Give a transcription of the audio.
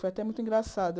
Foi até muito engraçado.